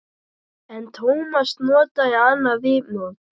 En Tómas notaði annað viðmót.